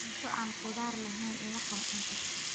Cunto aan khudaar lahayni ima qancin karto.